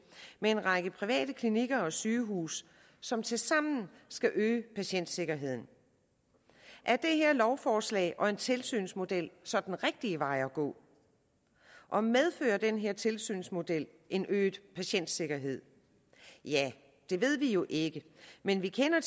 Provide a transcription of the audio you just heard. med en række private klinikker og sygehuse som tilsammen skal øge patientsikkerheden er det her lovforslag om en tilsynsmodel så den rigtige vej at gå og medfører den her tilsynsmodel en øget patientsikkerhed ja det ved vi jo ikke men vi kender